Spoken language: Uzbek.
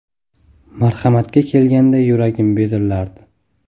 Marhamatga kelganda yuragim bezillardi.